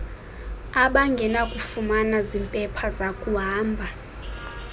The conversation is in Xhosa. abangenakufumana zimpepha zakuhamba